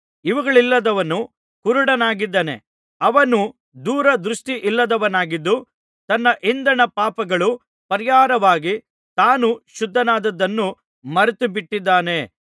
ಇವುಗಳಿಲ್ಲದವನು ಕುರುಡನಾಗಿದ್ದಾನೆ ಅವನು ದೂರ ದೃಷ್ಟಿಯಿಲ್ಲದವನಾಗಿದ್ದು ತನ್ನ ಹಿಂದಣ ಪಾಪಗಳು ಪರಿಹಾರವಾಗಿ ತಾನು ಶುದ್ಧನಾದದ್ದನ್ನು ಮರೆತುಬಿಟ್ಟಿದ್ದಾನೆ